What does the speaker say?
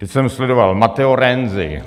Teď jsem sledoval - Matteo Renzi.